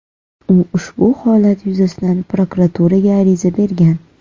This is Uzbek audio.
U ushbu holat yuzasidan prokuraturaga ariza bergan.